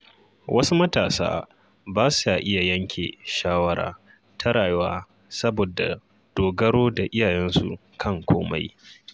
Wasu matasa ba sa iya yanke shawara ta rayuwa saboda dogaro da iyayensu kan komai.